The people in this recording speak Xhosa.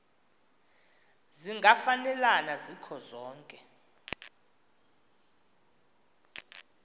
zingafanelana zikho zonke